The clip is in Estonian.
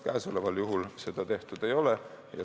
Praegusel juhul seda tehtud ei ole.